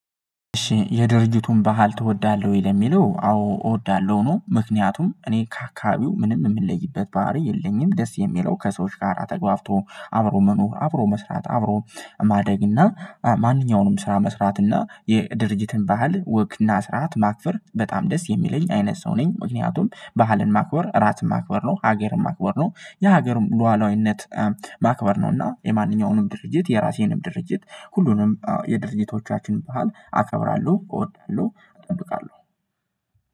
እሺ የድርጅቱን ባህል ትወዳለህ ወይ? ለሚለው አዎ እወዳለሁ ነው። ምክንያቱም እኔ ከአካባቢው ምንም የምለይበት ባህሪ የለኝም። ደስ የሚለው ከሰዎች ጋር ተግባብቶ አብሮ መኖር አብሮ መስራት አብሮ ማደግ እና ማንኛውንም ስራ መስራት እና የድርጅትን ባህል ወግና ስርዓት ማክበር በጣም ደስ የሚለኝ አይነት ሰው ነኝ። ምክንያቱም ባህልን ማክበር እራስን ማክበር ነው ሀገርን ማክበር ነው። የሀገር ሉዓላዊነት ማክበር ነውና የማንኛውንም ድርጅት የራሴንም ድርጅት ሁሉንም የድርጅቶቻችን ባህል አከብራለሁ እወዳለሁ እጠብቃለሁ።